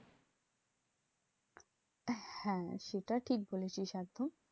আহ হ্যাঁ সেটা ঠিক বলেছিস একদম।